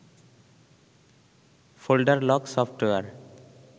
folder lock software